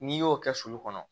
N'i y'o kɛ sulu kɔnɔ